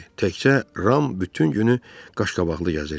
Təkcə Ram bütün günü qaşqabaqlı gəzirdi.